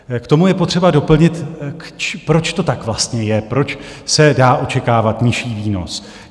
K tomu je potřeba doplnit, proč to tak vlastně je, proč se dá očekávat nižší výnos.